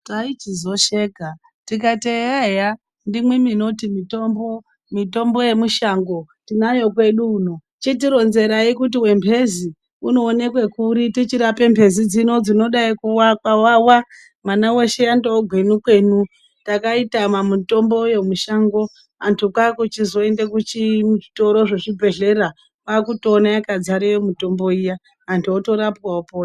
Taichizosheka tikati eya eya ndimi minoti munayo mitombo yemushango tinayo kwedu uno chitironzerai kuti wemhezi unooneke kuri tichirapa mhezi dzino dzinodai kuwawa mwana weshe yandova gwenukwenu Takaitama mitombo yoo mushango antu kwakuchizoenda kuchitoro zvezvibhedhlera kwakutoona yakadzareyo mitombo iya .antu otorapwa opona.